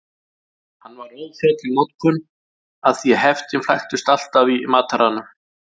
Hann var óþjáll í notkun af því heftin flæktust alltaf í mataranum.